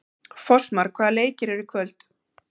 Fossmar, hvaða leikir eru í kvöld?